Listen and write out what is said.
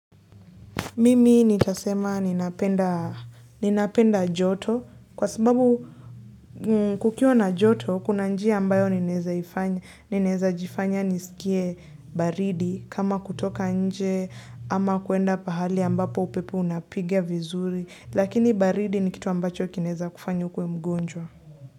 Mimi nitasema ninapenda ninapenda joto kwa sababu kukiwa na joto kuna njia ambayo ninawezajifanya nisikie baridi kama kutoka nje ama kwenda pahali ambapo upepo unapiga vizuri lakini baridi ni kitu ambacho kinaeza kufanya ukue mgonjwa.